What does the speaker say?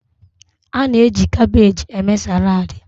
A na-eji kabeeji eme saladi.